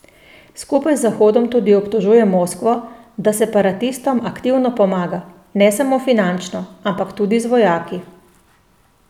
Skupaj z Zahodom tudi obtožuje Moskvo, da separatistom aktivno pomaga, ne samo finančno, ampak tudi z vojaki.